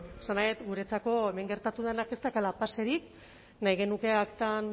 esan nahi dut guretzat hemen gertatu denak ez daukala paserik nahi genuke aktan